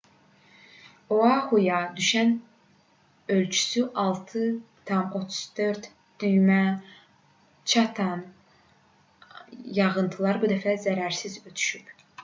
oahuya düşən ölçüsü 6,34 düymə çatan yağıntılar bu dəfə zərərsiz ötüşüb